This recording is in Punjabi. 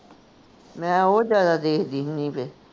ਮੈਂ ਉਹ ਜਿਆਦਾ ਦੇਖਦੀ ਹੁੰਦੀ